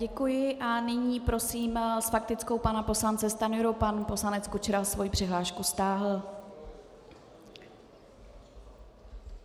Děkuji a nyní prosím s faktickou pana poslance Stanjuru, pan poslanec Kučera svoji přihlášku stáhl.